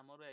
আমারও